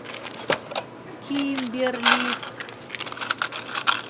кимберли